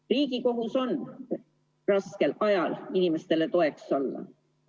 Riigi kohus on raskel ajal inimestele toeks olla.